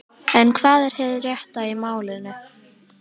En hvað er hið rétta í málinu?